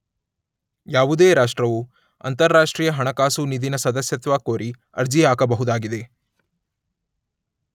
ಯಾವುದೇ ರಾಷ್ಟ್ರವು ಅಂತರರಾಷ್ಟ್ರೀಯ ಹಣಕಾಸು ನಿಧಿನ ಸದಸ್ಯತ್ವ ಕೋರಿ ಅರ್ಜಿ ಹಾಕಬಹುದಾಗಿದೆ.